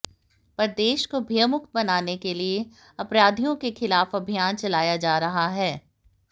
प्रदेश को भयमुक्त बनाने के लिए ही अपराधियों के खिलाफ अभियान चलाया जा रहा है